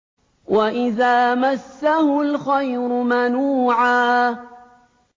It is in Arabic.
وَإِذَا مَسَّهُ الْخَيْرُ مَنُوعًا